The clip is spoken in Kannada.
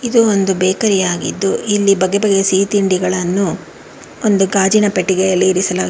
ಇದು ಒಂದು ಬೇಕರಿ ಆಗಿದ್ದು ಇಲ್ಲಿ ಬಗೆಬಗೆ ಸಿಹಿ ತಿಂಡಿಗಳನ್ನು ಒಂದು ಗಾಜಿನ ಪೆಟ್ಟಿಗೆಯಲ್ಲಿ ಇರಿಸಲಾಗಿ--